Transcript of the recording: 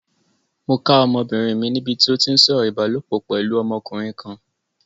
Mo ká ọmọbìnrin mi níbi tí ó ti ń sọ̀rọ̀ ìbálopọ̀ pẹ̀lú ọmọkùnrin kan.